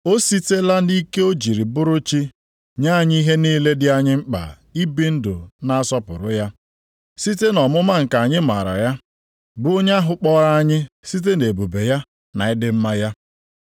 O sitela nʼike o ji bụrụ Chi nye anyị ihe niile dị anyị mkpa ibi ndụ na-asọpụrụ ya, site nʼọmụma nke anyị mara ya, bụ onye ahụ kpọrọ anyị site nʼebube ya na ịdị mma ya.